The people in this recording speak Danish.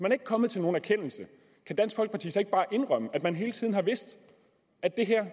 ikke kommet til nogen erkendelse kan dansk folkeparti så ikke bare indrømme at man hele tiden har vidst at det her